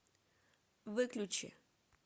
выключи